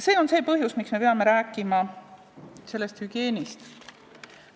See on see põhjus, miks me peame rääkima hügieenist.